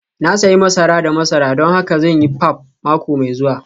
Na sayi masara da masara don haka zan yi pap mako mai zuwa